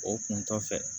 O kun kɔfɛ